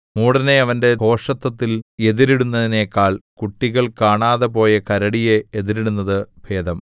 മൂഢനെ അവന്റെ ഭോഷത്തത്തിൽ എതിരിടുന്നതിനെക്കാൾ കുട്ടികൾ കാണാതെപോയ കരടിയെ എതിരിടുന്നത് ഭേദം